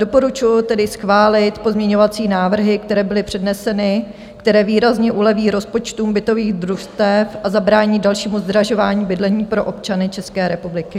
Doporučuji tedy schválit pozměňovací návrhy, které byly předneseny, které výrazně uleví rozpočtům bytových družstev a zabrání dalšímu zdražování bydlení pro občany České republiky.